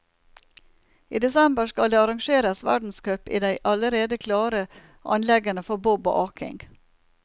I desember skal det arrangeres verdenscup i de allerede klare anleggene for bob og aking.